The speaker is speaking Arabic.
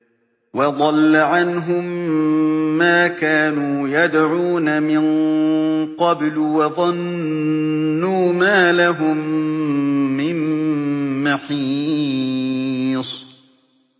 وَضَلَّ عَنْهُم مَّا كَانُوا يَدْعُونَ مِن قَبْلُ ۖ وَظَنُّوا مَا لَهُم مِّن مَّحِيصٍ